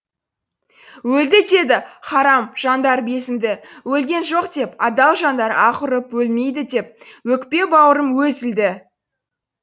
өлді деді һарам жандар безінді өлген жоқ деп адал жандар аһ ұрып өлмейді деп өкпе бауырым өзілді